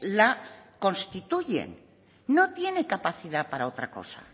la constituyen no tienen capacidad para otra cosa